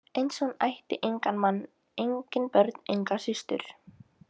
Eins og hún ætti engan mann, engin börn, enga systur.